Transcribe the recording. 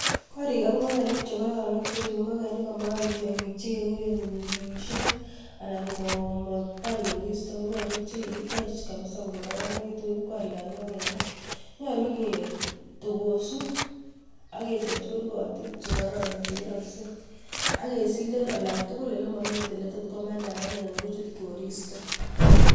Gorikab ingogenik chekororon ak cheribe ingogenik komaam tiongiik chekekuren kipung'pung'usiek anan ko matkobaar koriistoo ko gorik chekikitech kabisa ko kororonekitun ,Nyolu kitogosuu ak kechoobchii kurgootik chekororon chekeroksei. Ak kesilen olantugul olemomi oletot komandaen anan kochuut koristoo